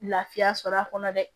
Lafiya sɔrɔ a kɔnɔ dɛ